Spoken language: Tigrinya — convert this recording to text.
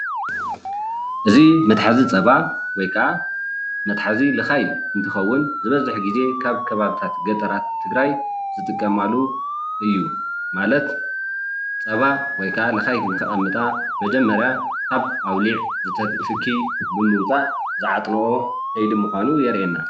እዚ መትሓዚ ፀባ ወይ ካዓ መትሓዚ ልኻይ እንትኸውን ዝበዝሕ ግዜ ካብ ከባቢታት ገጠራት ትግራይ ዝጥቀማሉ እዩ ማለት ፀባ ወይ ካዓ ልኻይ ንኸቐምጣ መጀመርያ ካብ ኣውሊዕ ዝተክኽ ትኪ ብምውፃእ ዝዓጥንኦ ከይዲ ምዃኑ የርእየና።